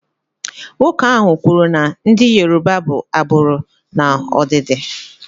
Nwoke ahụ kwuru na ndị Yoruba bụ agbụrụ n'ọdịdị.